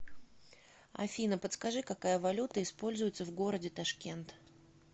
афина подскажи какая валюта используется в городе ташкент